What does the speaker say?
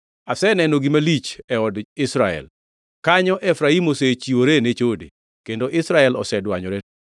Aseneno gima lich e od Israel. Kanyo Efraim osechiwore ne chode kendo Israel osedwanyore.